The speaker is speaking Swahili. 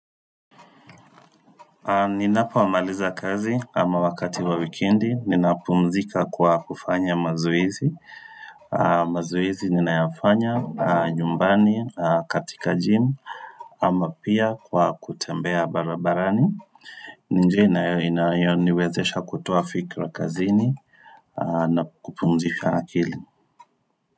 Ninapomaliza kazi ama wakati wa wikendi, ninapumzika kwa kufanya mazoezi mazoezi ninayafanya nyumbani katika gym ama pia kwa kutembea barabarani ni njia inayoniwezesha kutoa fikira kazini na kupumzika akili.